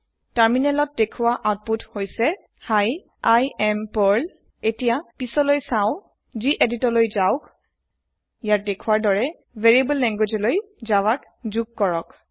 তাৰিনেলত দেখুৱা অউতপুত হৈছে hi I am Pearl এতিয়া যোৱা গেদিত ত লই সুইচ কৰক এইয়াত দেখুৱাৰ দৰে ভাৰিয়াব্লে ল্যাঙ্গুয়েজত জাভা জুগ কৰক